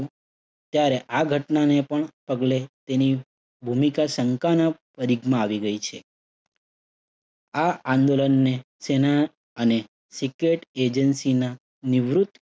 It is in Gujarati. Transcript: ત્યારે આ ઘટનાને પણ પગલે તેની ભૂમિકા શંકાના માં આવી ગઈ છે. આ આંદોલનને સેના અને secret agency ના નિવૃત્ત